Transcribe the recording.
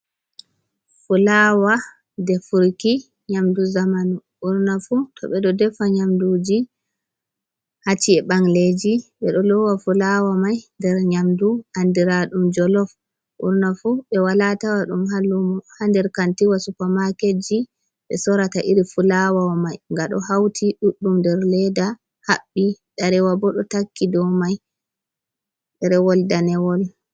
Fulawa defurki nyamdu zaman, ɓurnafu to ɓe ɗo defa nyamduji hacci’eji ɓangleji ɓe ɗo lowa fulawa mai nder nyamdu andira ɗum jolof, ɓurna fu ɓe wala tawa ɗum ha lumo ha nder kantiwa supermaketji ɓe sorata iri fulawa mai, nga ɗo hauti ɗuɗɗum nder ledda haɓɓi ɗerewol bo ɗo takki dow mai ɗerewol rewol danewol.